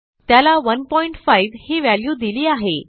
त्याला 15 ही व्हॅल्यू दिली आहे